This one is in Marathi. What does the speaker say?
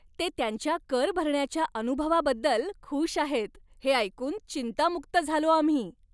ते त्यांच्या कर भरण्याच्या अनुभवाबद्दल खुश आहेत हे ऐकून चिंतामुक्त झालो आम्ही.